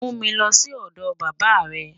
Mú mi lọ́ sí ọdọ bàbá rẹ̀.